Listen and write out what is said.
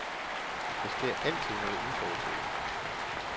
Der sker altid noget uforudset.